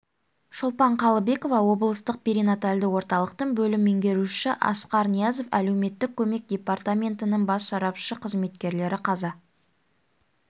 шолпан қалыбекова облыстық перинатальды орталықтың бөлім меңгерушісі асқар ниязов әлеуметтік көмек департаментінің бас сарапшысы қызметкерлері қаза